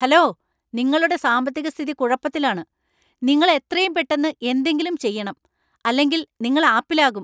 Hello, നിങ്ങളുടെ സാമ്പത്തിക സ്ഥിതി കുഴപ്പത്തിലാണ്! നിങ്ങൾ എത്രയും പെട്ടെന്ന് എന്തെങ്കിലും ചെയ്യണം, അല്ലെങ്കിൽ നിങ്ങൾ ആപ്പിലാകും.